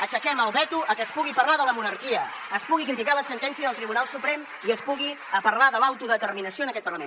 aixequem el veto a que es pugui parlar de la monarquia es pugui criticar la sentència del tribunal suprem i es pugui parlar de l’autodeterminació en aquest parlament